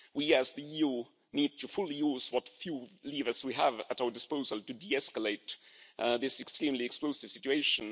We as the EU need to fully use what few levers we have at our disposal to de escalate this extremely explosive situation.